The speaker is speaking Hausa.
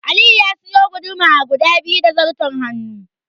Aliyu ya suyi guduma guda biyu da zarton hannu.